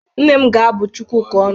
Nne m ga-abu Chukwuka ọnụ.